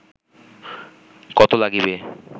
কত লাগিবে